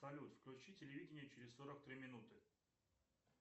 салют включи телевидение через сорок три минуты